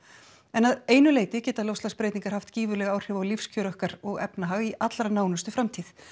en að einu leyti geta loftslagsbreytingar haft gífurleg áhrif á lífskjör okkar og efnahag í allra nánustu framtíð